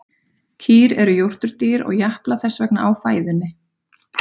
Kýr eru jórturdýr og japla þess vegna á fæðunni.